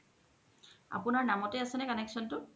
আপুনাৰ নাম্তে আছে নে connection তু